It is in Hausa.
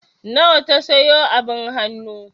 Nawa ta sayo abin hannu?